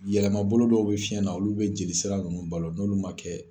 Yɛlɛma bolo dɔw bɛ fiyɛn na olu bɛ jeli sira ninnu balo n'olu ma kɛ